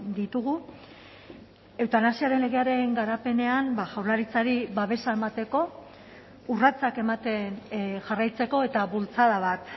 ditugu eutanasiaren legearen garapenean jaurlaritzari babesa emateko urratsak ematen jarraitzeko eta bultzada bat